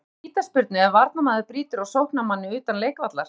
Er hægt að dæma vítaspyrnu ef varnarmaður brýtur á sóknarmanni utan leikvallar?